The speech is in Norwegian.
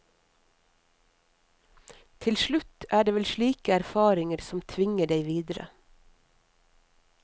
Til slutt er det vel slike erfaringer som tvinger deg videre.